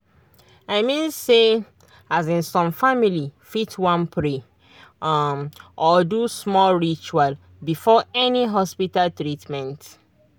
i mean say um some family fit wan pray um or do small ritual before any hospita treatment